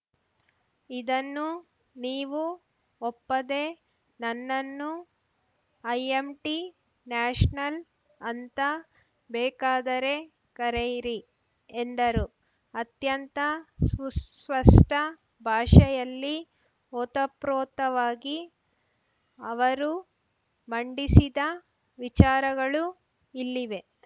ಇದನ್ನು ನೀವು ಒಪ್ಪದೇ ನನ್ನನ್ನು ಅಯ್ಯಂಟಿ ನ್ಯಾಷನಲ್‌ ಅಂತ ಬೇಕಾದರೆ ಕರೆಯಿರಿ ಎಂದರು ಅತ್ಯಂತ ಸುಸ್ಪಷ್ಟಭಾಷೆಯಲ್ಲಿ ಓತಪ್ರೋತವಾಗಿ ಅವರು ಮಂಡಿಸಿದ ವಿಚಾರಗಳು ಇಲ್ಲಿವೆ